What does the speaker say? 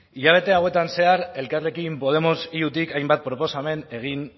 hilabete hauetan zehar elkarrekin podemos iutik hainbat proposamen egin